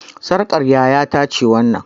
Sarƙar yaya ta ce wannan